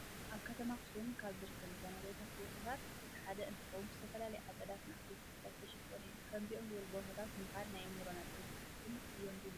ኣብ ከተማ ኣክሱም ካብ ዝርከቡ መዘናግዒ ቦታታት እቲ ሓደ እንትኾውን ብዝተፈላለዩ ኣፀዳትን ዓበይቲ ተኽልታትን ዝተሸፈነ እዩ። ከምዚኦም ዝበሉ ቦታታት ምኻድ ናይ ኣዕምሮም ነፃነትን ዕረፍትን እዮም ዝህቡ።